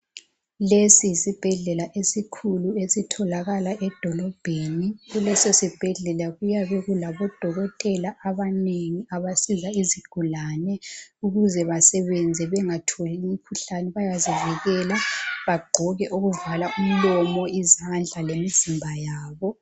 Lesi yisibhedlela esikhulu esitholakala edolobheni, kuleso sibhedlela kuyabe kulabo dokotela abanengi abasiza izigulane ,ukuze basebenze bengatholi imikhuhlane bayazivikela, bagqoke okuvala umlomo, izandla lemizimba yabo.